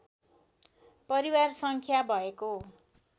परिवार सङ्ख्या भएको